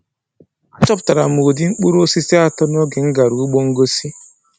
Achọpụtara m ụdị mkpụrụ osisi atọ n'oge m gara ugbo ngosi.